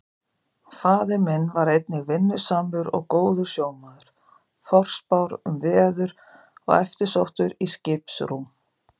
Faðir minn var einnig vinnusamur og góður sjómaður, forspár um veður og eftirsóttur í skiprúm.